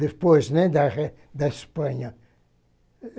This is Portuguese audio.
Depois, né, da da Espanha.